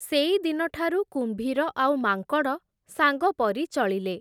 ସେଇଦିନଠାରୁ କୁମ୍ଭୀର ଆଉ ମାଙ୍କଡ଼ ସାଙ୍ଗପରି ଚଳିଲେ ।